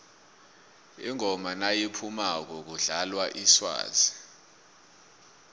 ingoma nayiphumako kudlalwa iswazi